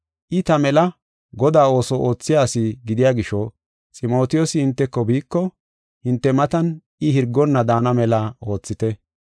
I ta mela Godaa ooso oothiya asi gidiya gisho, Ximotiyoosi hinteko biiko, hinte matan I hirgonna daana mela oothite.